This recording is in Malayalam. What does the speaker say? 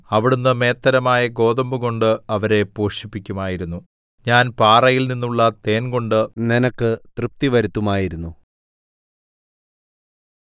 അവിടുന്ന് മേത്തരമായ ഗോതമ്പുകൊണ്ട് അവരെ പോഷിപ്പിക്കുമായിരുന്നു ഞാൻ പാറയിൽനിന്നുള്ള തേൻകൊണ്ട് നിനക്ക് തൃപ്തിവരുത്തുമായിരുന്നു